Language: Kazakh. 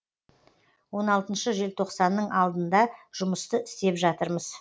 он алтыншы желтоқсанның алдында жұмысты істеп жатырмыз